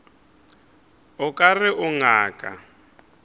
o ka re o ngaka